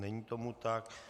Není tomu tak.